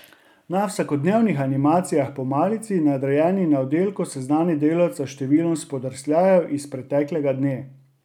Na vsakodnevnih animacijah po malici nadrejeni na oddelku seznani delavca s številom spodrsljajev iz preteklega dne.